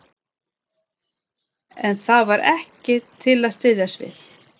En það var ekkert til að styðjast við.